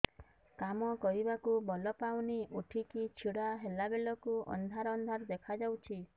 କାମ କରିବାକୁ ବଳ ପାଉନି ଉଠିକି ଛିଡା ହେଲା ବେଳକୁ ଅନ୍ଧାର ଅନ୍ଧାର ଦେଖା ଯାଉଛି